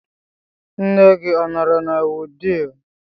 Nne gị ọ nọrọ na Wudil?